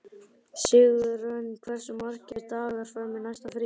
Sigurörn, hversu margir dagar fram að næsta fríi?